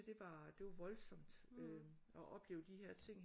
Bare det var voldsomt at opleve de her ting